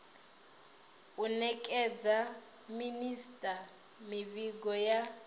u nekedza minisita mivhigo ya